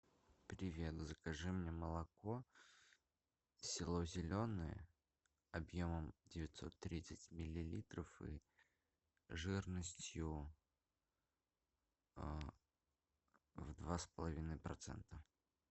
привет закажи мне молоко село зеленое объемом девятьсот тридцать миллилитров и жирностью в два с половиной процента